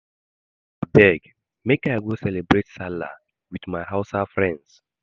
Abeg make I go cerebrate Sallah wit my Hausa friends.